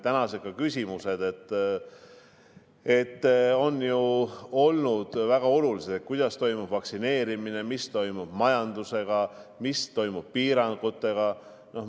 Tänased küsimused on ju olnud väga olulised: kuidas toimub vaktsineerimine, mis toimub majandusega, mis toimub piirangutega.